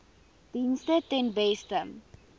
dienste ten beste